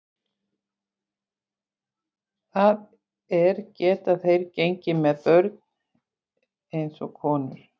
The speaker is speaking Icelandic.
Það er, geta þeir gengið með börn alveg eins og konur?